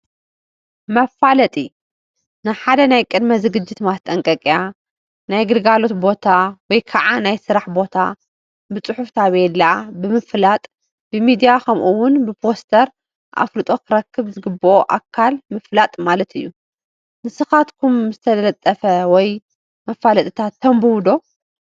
መፋለጢ፡- ንሓደ ናይ ቅድመ ዝግጅት ማስጠንቀቂያ ፣ ናይ ግልጋሎት ቦታ ወይ ከዓ ናይ ስራሕ ቦታ ብፅሑፍ ታፔላ ብምልጣፍ፣ ብሚድያ ከምኡ ውን ብፖስተር ኣፍልጦ ክረክብ ዝግበኦ ኣካል ምፍላጥ ማለት እዩ፡፡ ንስኻትኩም ዝተለጠፉ መፋለጢታት ተንብቡ ዶ?